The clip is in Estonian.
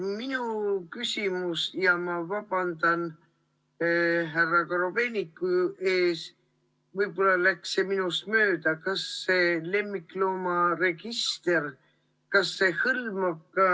Minu küsimus – ja ma vabandan härra Korobeiniku ees, võib-olla läks see info minust mööda ‒ on järgmine: kas see lemmikloomaregister hõlmab ka?